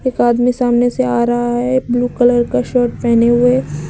एक आदमी सामने से आ रहा है ब्ल्यू कलर का शर्ट पहने हुए।